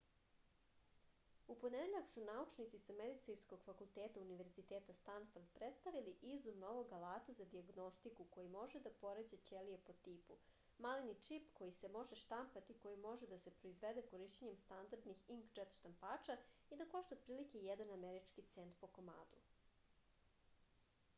u ponedeljak su naučnici sa medicinskog fakulteta univerziteta stanford predstavili izum novog alata za dijagnostiku koji može da poređa ćelije po tipu maleni čip koji se može štampati i koji može da se proizvede korišćenjem standardnih inkdžet štampača i da košta otprilike jedan američki cent po komadu